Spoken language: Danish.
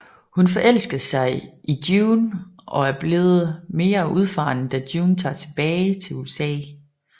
Hun forelsker sig i June og er blevet mere udfaren da June tager tilbage til USA